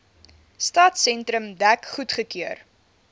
stadsentrum dek goedgekeur